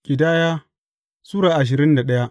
Ƙidaya Sura ashirin da daya